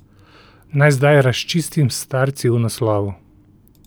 Naj zdaj razčistim s starci v naslovu.